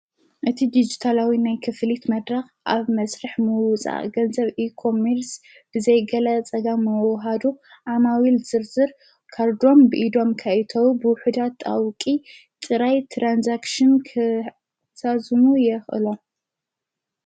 እቲ ዲጅተላዊ ናይ ክፍሊት መድራኽ ኣብ መሥርሕ መውፃ ገንዘብ ኢኮምምርስ ብዘይገላ ጸጋ መውሃዱ ኣማዊ ኢል ዝርዝር ካርዶም ብኢዶም ካይተዊ ብውሑዳት ጣውቂ ጥራይ ትራንሳክሽን ክሳዝሙ የቕሎም::